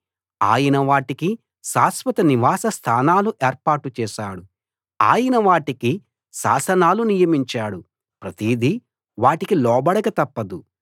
ఆయన వాటికి శాశ్విత నివాస స్థానాలు ఏర్పాటు చేశాడు ఆయన వాటికి శాసనాలు నియమించాడు ప్రతిదీ వాటికి లోబడక తప్పదు